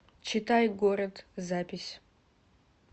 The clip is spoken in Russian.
читай город запись